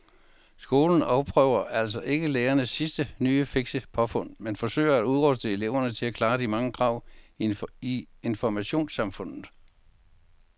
Skolen afprøver altså ikke lærernes sidste nye fikse påfund men forsøger at udruste eleverne til at klare de mange krav i informationssamfundet.